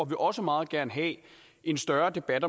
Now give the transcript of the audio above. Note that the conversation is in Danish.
vil også meget gerne have en større debat